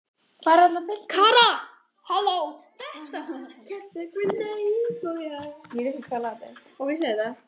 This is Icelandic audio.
Ingveldur Geirsdóttir: Hefur það gengið eftir?